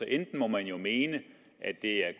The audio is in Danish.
enten må man jo mene at det er